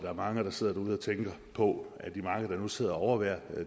er mange der sidder derude og tænker på af de mange der nu sidder og overværer